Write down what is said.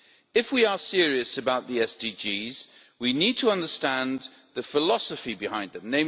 If we are serious about the SDGs, we need to understand the philosophy behind them